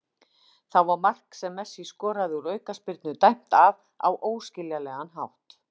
Þá var mark sem Messi skoraði úr aukaspyrnu dæmt af á óskiljanlegan hátt.